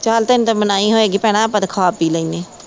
ਚਲ ਤੈਨੂੰ ਤੇ ਮਨਾਹੀ ਹੋਏਗੀ ਭੈਣਾਂ ਆਪਾ ਤੇ ਖਾ ਪੀ ਲੈਣੇ।